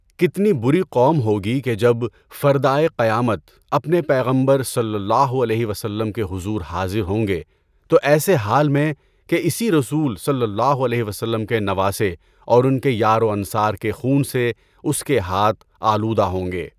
کتنی بری قوم ہوگی کہ جب فردائے قیامت اپنے پیغمبر صلی اللہ علیہ وسلم کے حضور حاضر ہوں گے تو ایسے حال میں کہ اسی رسول صلی اللہ علیہ وسلم کے نواسہ اور ان کے یار و انصار کے خون سے اس کے ہاتھ آلودہ ہوں گے۔